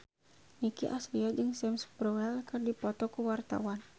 Nicky Astria jeung Sam Spruell keur dipoto ku wartawan